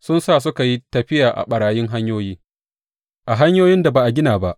Sun sa suka yi tafiya a ɓarayin hanyoyi a hanyoyin da ba a gina ba.